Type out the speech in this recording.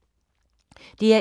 DR1